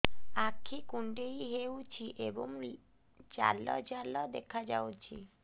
ଆଖି କୁଣ୍ଡେଇ ହେଉଛି ଏବଂ ଜାଲ ଜାଲ ଦେଖାଯାଉଛି